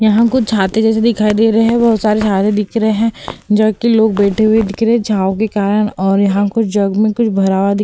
यहाँ कुछ छाते जैसे दिखाई दे रहे हैं बहोत सारे छाते दिख रहे हैं जहाँ कि लोग बैठे हुए दिख रहे हैं छाँव के कारण और यहाँ कुछ जग में कुछ भरा हुआ दिख --